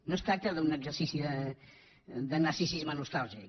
no es tracta d’un exercici de narcisisme nostàlgic